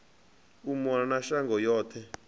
u mona na shango yoṱhe